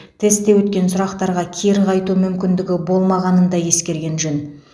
тестте өткен сұрақтарға кері қайту мүмкіндігі болмағанын да ескерген жөн